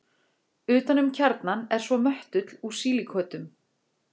Utan um kjarnann er svo möttull úr sílíkötum.